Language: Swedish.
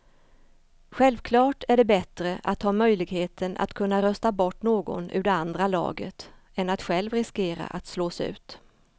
Självklart är det bättre att ha möjligheten att kunna rösta bort någon ur det andra laget än att själv riskera att slås ut.